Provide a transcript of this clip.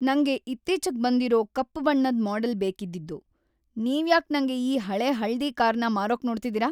ನಂಗೆ ಇತ್ತೀಚಿಗ್‌ ಬಂದಿರೋ ಕಪ್ಪು ಬಣ್ಣದ್‌ ಮಾಡೆಲ್ ಬೇಕಿದ್ದಿದ್ದು. ನೀವ್ಯಾಕ್‌ ನಂಗೆ ಈ ಹಳೇ ಹಳದಿ ಕಾರ್‌ನ ಮಾರೋಕ್‌ ನೋಡ್ತಿದೀರ?!